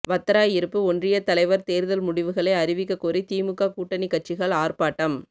வத்திராயிருப்பு ஒன்றியத் தலைவர் தேர்தல் முடிவுகளை அறிவிக்கக் கோரி திமுக கூட்டணிக் கட்சிகள் ஆர்ப்பாட்டம்